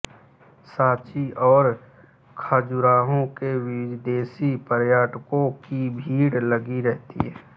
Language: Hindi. सांची और खजुराहो में विदेशी पर्यटकों की भीड़ लगी रहती है